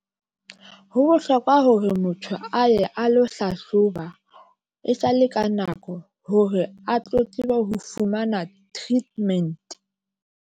Ho bohlokwa hore motho a ye a lo hlahloba e sale ka nako hore a tlo tsebe ho fumana treatment.